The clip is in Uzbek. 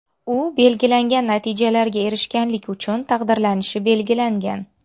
U belgilangan natijalarga erishganlik uchun taqdirlanishi belgilangan.